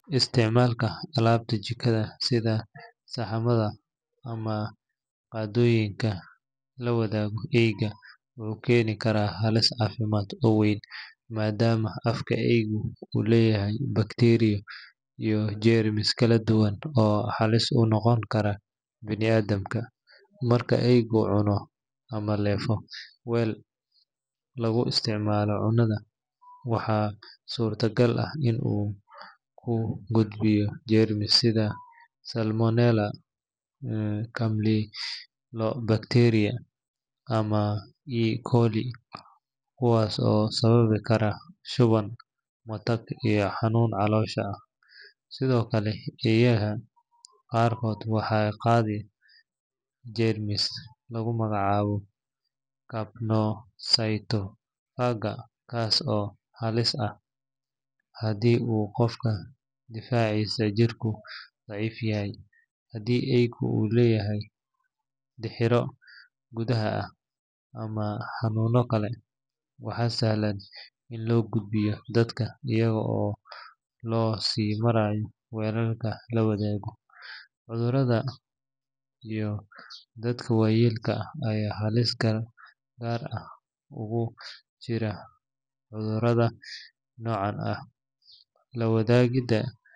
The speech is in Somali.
Isticmaalka alaabta jikada sida saxamada ama qaadooyinka la wadaago eeyga wuxuu keeni karaa halis caafimaad oo weyn maadaama afka eeygu uu leeyahay bakteeriyo iyo jeermis kala duwan oo halis u noqon kara bini’aadamka. Marka eeygu cuno ama leefo weel lagu isticmaalo cunnada, waxaa suurtagal ah in uu ku gudbiyo jeermis sida salmonella, campylobacter, ama E.coli kuwaas oo sababi kara shuban, matag, iyo xanuun caloosha ah. Sidoo kale, eeyaha qaarkood waxay qaadaa jeermis lagu magacaabo capnocytophaga kaas oo halis ah haddii uu qofka difaaciisa jirku daciif yahay. Haddii eeygu uu leeyahay dixirro gudaha ah ama xanuuno kale, waxaa sahlan in loo gudbiyo dadka iyada oo loo sii marayo weelka la wadaagayo. Carruurta iyo dadka waayeelka ah ayaa halis gaar ah ugu jira cudurrada noocan ah.